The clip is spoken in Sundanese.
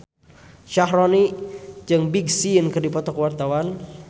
Syaharani jeung Big Sean keur dipoto ku wartawan